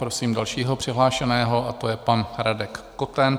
Prosím dalšího přihlášeného, a to je pan Radek Koten.